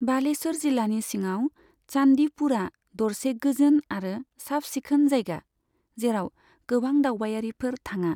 बालेश्वर जिल्लानि सिङाव चान्दीपुरआ दरसे गोजोन आरो साफ सिखोन जायगा, जेराव गोबां दावबायारिफोर थाङा।